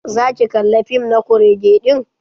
Za ki kalla fim na kurrege din?